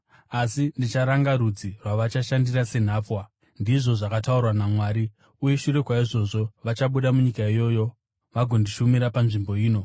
Asi ndicharanga rudzi rwavachashandira senhapwa,’ ndizvo zvakataurwa naMwari, ‘uye shure kwaizvozvo vachabuda munyika iyoyo vagondishumira panzvimbo ino.’